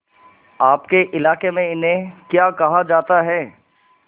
आपके इलाके में इन्हें क्या कहा जाता है